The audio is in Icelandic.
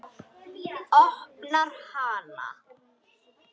Opnar hana.